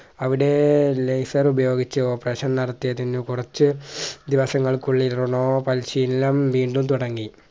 അവിടെ lasor ഉപയോഗിച്ച് operation നടത്തിയതിന് കുറച്ച് ദിവസങ്ങൾക്കുള്ളിൽ റൊണാ പരിശീലനം വീണ്ടും തുടങ്ങി